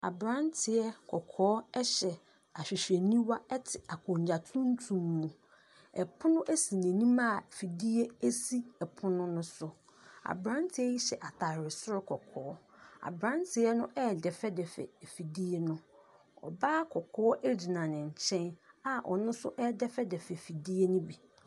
Aberanteɛ kɔkɔɔ hyɛ ahwehwɛniwa te akonnwa tuntum mu. Pono si n'anim a fidie si pono no so. Aberanteɛ yi hyɛ atare soro kɔkɔɔ. Aberanteɛ no redɛfɛdɛfɛ afidie no. ɔbaa kɔkɔɔ gyina ne nkyɛn a ɔno nso redɛfɛdɛfɛ afidie no bi.